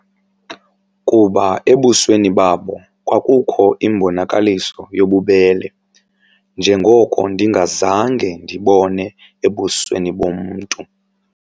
Kuba ebusweni babo kwakukho imbonakaliso yobubele njengoko ndingazange ndibone ebusweni bomntu.